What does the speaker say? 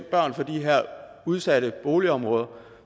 børn fra de her udsatte boligområder